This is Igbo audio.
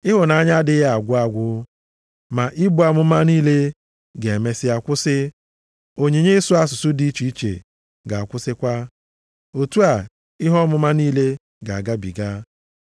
Ịhụnanya adịghị agwụ agwụ. Ma ibu amụma niile ga-emesịa kwụsị, onyinye ịsụ asụsụ dị iche iche ga-akwụsịkwa. Otu a, ihe ọmụma niile ga-agabiga.